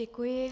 Děkuji.